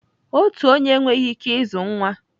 Otu onye enweghị ike ịzụ nwa.